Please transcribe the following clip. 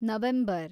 November